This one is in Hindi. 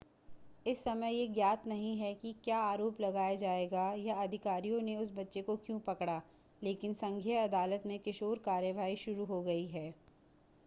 इस समय यह ज्ञात नहीं है कि क्या आरोप लगाया जाएगा या अधिकारियों ने उस बच्चे को क्यों पकड़ा लेकिन संघीय अदालत में किशोर कार्यवाही शुरू हो गई है